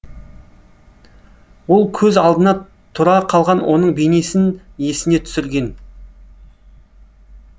ол көз алдына тұра қалған оның бейнесін есіне түсірген